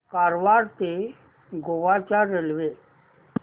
कारवार ते गोवा च्या रेल्वे